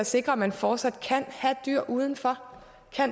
sikre at man fortsat kan have dyr udenfor